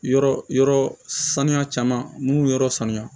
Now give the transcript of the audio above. Yɔrɔ yɔrɔ sanuya caman n'u yɔrɔ sanuya